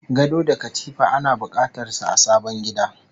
Gado da katifa ana bukatar su a sabon gida